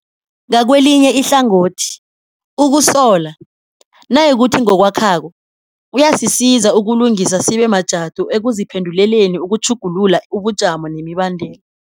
Ngakelinye ihlangothi, ukusola, nayikuthi kungokwakhako, kuyasisiza ukulungisa sibe majadu ekuziphenduleleni ukutjhugulula ubujamo nemibandela.